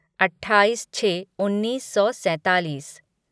अट्ठा्ठाईस छः उन्नीस सौ सैंतालीस